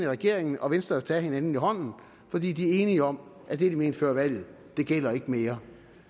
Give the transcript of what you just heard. regeringen og venstre tage hinanden i hånden fordi de er enige om at det de mente før valget gælder ikke mere